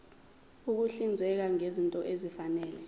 ukuhlinzeka ngezinto ezifanele